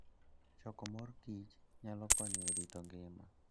Choko mor kich nyalo konyo e rito ngima.